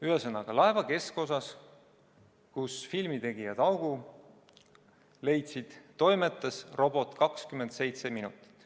Ühesõnaga, laeva keskosas, kus filmitegijad augu leidsid, toimetas robot 27 minutit.